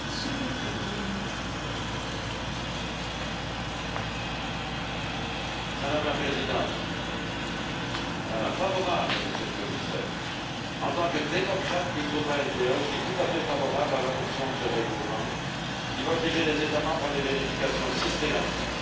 Madame la Présidente, Monsieur le Commissaire, en tant que démocrate du groupe ALDE, je suis tout à fait favorable à l'adoption de ce règlement, qui va obliger les États membres à des vérifications systématiques de toutes les personnes, citoyens ou ressortissants de pays tiers, qui franchissent la frontière extérieure.